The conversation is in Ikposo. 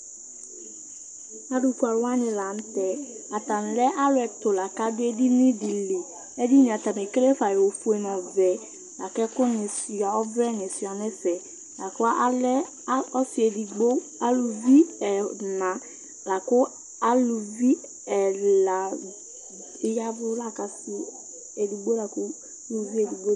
Alʋfue alʋwani lanʋtɛ, atani lɛ alʋ ɛtʋ lakʋ adʋ edinidi li Edinie atani ekele fa ofue nʋ ɔvɛ, lakʋ ɔvlɛ ni suia nʋ ɛfɛ Lakʋ alɛ ɔsi edigbo alʋvi ɛna lakʋ alʋvi ɛla bi ya ɛvʋ lakʋ asi edigbo lakʋ ʋlʋvi edigbo